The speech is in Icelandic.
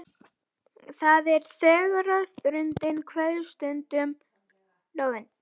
Það er tregaþrungin kveðjustund við lónið.